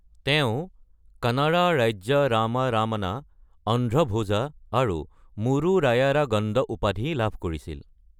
তেওঁ ‘কৰণত ৰাজ্য ৰাম ৰমণ’, ‘অন্ধ্ৰ ভোজ’ আৰু ‘মূৰু ৰায়ৰা গণ্ড’ উপাধি লাভ কৰিছিল।